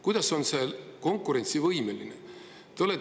Kuidas on see konkurentsivõimeline?